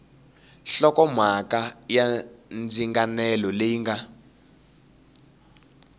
hlokomhaka ya ndzinganelo leyi nga